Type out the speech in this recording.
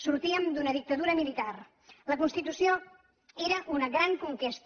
sortíem d’una dictadura militar la constitució era una gran conquesta